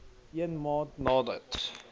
een maand nadat